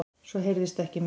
Svo heyrðist ekkert meir.